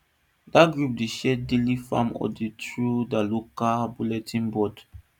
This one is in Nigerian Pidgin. dat group dey share daily farm updates through their local bulletin board